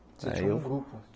Você tinha um grupo?